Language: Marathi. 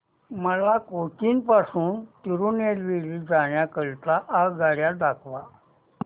मला कोचीन पासून तिरूनेलवेली जाण्या करीता आगगाड्या दाखवा